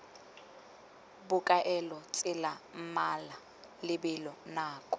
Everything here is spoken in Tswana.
bokaelo tsela mmala lebelo nako